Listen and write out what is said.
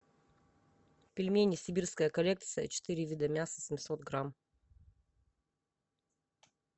пельмени сибирская коллекция четыре вида мяса семьсот грамм